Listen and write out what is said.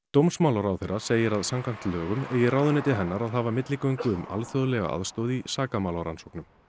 dómsmálaráðherra segir að samkvæmt lögum eigi ráðuneyti hennar að hafa milligöngu um alþjóðlega aðstoð í sakamálarannsóknum